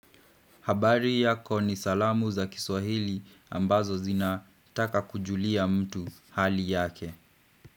Habari yako ni salamu za kiswahili ambazo zina taka kujulia mtu hali yake.